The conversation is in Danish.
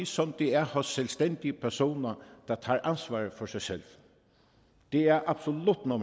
som det er hos selvstændige personer der tager ansvar for sig selv det er absolut nummer